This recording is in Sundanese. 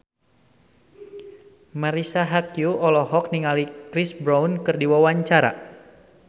Marisa Haque olohok ningali Chris Brown keur diwawancara